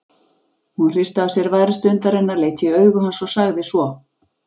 Hún hristi af sér værð stundarinnar, leit í augu hans og sagði svo